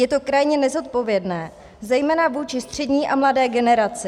Je to krajně nezodpovědné zejména vůči střední a mladé generaci.